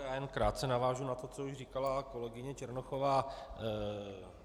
Já jen krátce navážu na to, co už říkala kolegyně Černochová.